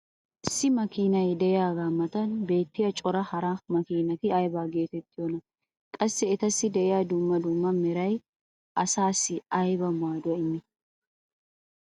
issi makkiinnay diyagaa matan beetiya cora hara makkiinati aybba geetettiyoonaa? qassi etassi diya dumma dumma meray asaassi ayba maaduwaa immii?